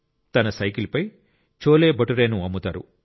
తన సైకిల్ పై చోలేభతురేను అమ్ముతారు